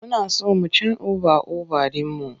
Muna so mu cen oba over ɗin mu.